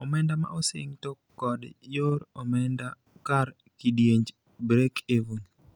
Omenda ma osing to kod yor omenda kar kidienj Break-even.